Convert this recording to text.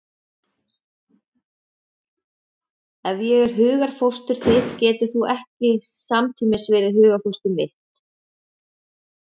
Ef ég er hugarfóstur þitt getur þú ekki samtímis verið hugarfóstur mitt.